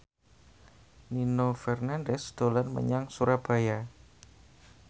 Nino Fernandez dolan menyang Surabaya